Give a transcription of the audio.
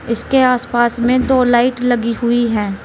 इसके आसपास में दो लाइट लगी हुई है।